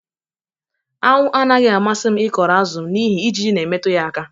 anwụ anaghị amasị m ịkọrọ azụ m n'ihi ijiji na-emetụ ya aka